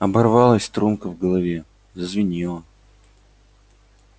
оборвалась струнка в голове зазвенела